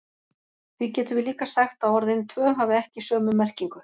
Því getum við líka sagt að orðin tvö hafi ekki sömu merkingu.